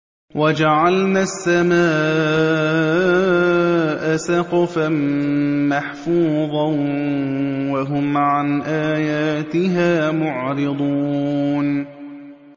وَجَعَلْنَا السَّمَاءَ سَقْفًا مَّحْفُوظًا ۖ وَهُمْ عَنْ آيَاتِهَا مُعْرِضُونَ